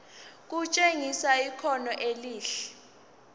kutshengisa ikhono elihle